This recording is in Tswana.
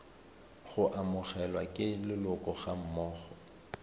go amogelwa ke leloko gammogo